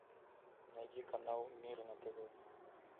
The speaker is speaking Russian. найди канал мир на тв